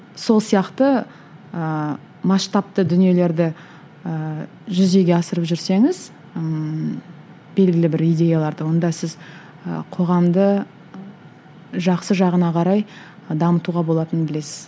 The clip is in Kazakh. сол сияқты ыыы масштабты дүниелерді ыыы жүзеге асырып жүрсеңіз ммм белгілі бір идеяларды онда сіз ы қоғамды жақсы жағына қарай дамытуға болатынын білесіз